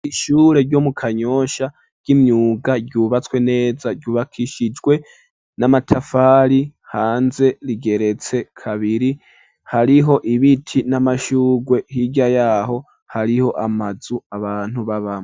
ishure ryo mu kanyosha ry’imyuga ryubatswe neza ryubakishijwe n'amatafari hanze rigeretse kabiri hariho ibiti n'amashugwe hirya yaho hariho amazu abantu babamwo.